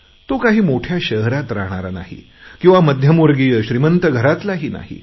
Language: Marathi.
तो काही मोठ्या शहरात राहणारा नाही किंवा मध्यमवर्गीय श्रीमंत घरातलाही नाही